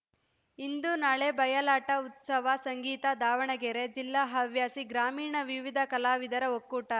ಇಂದು ನಾಳೆ ಬಯಲಾಟ ಉತ್ಸವ ಸಂಗೀತ ದಾವಣಗೆರೆ ಜಿಲ್ಲಾ ಹವ್ಯಾಸಿ ಗ್ರಾಮೀಣ ವಿವಿಧ ಕಲಾವಿದರ ಒಕ್ಕೂಟ